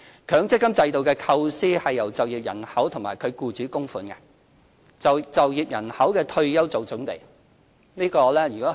強積金制度的構思是由就業人口及其僱主作供款，為就業人口的退休作準備。